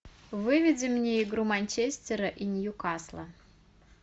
выведи мне игру манчестера и ньюкасла